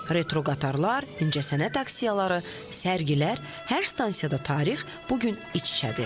Retroqataralar, incəsənət aksiyaları, sərgilər, hər stansiyada tarix bu gün iç-içədir.